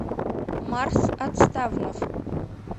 марс отставнов